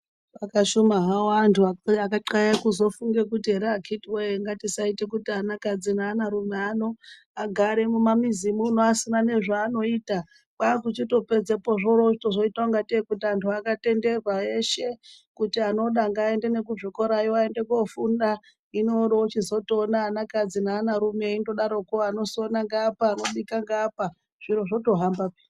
Akashuma hawo andu akahyla kuti azofunga ngatisate kuti ana kadzi neana rume asagare mumamizi asina nezvaanoita, kwakuchizoita kuti atenderwe kuti auye kuzvikorayo